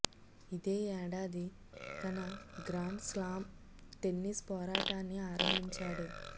ఇదే ఏడాది తన గ్రాండ్ స్లాం టెన్నిస్ పోరాటాన్ని ఆరంభించాడు